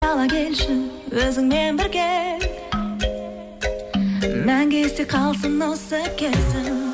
ала келші өзіңмен бірге мәңгі есте қалсын осы кезім